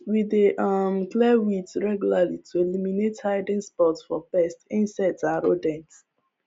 we dey um clear weeds regularly to eliminate hiding spots for pest insects and rodents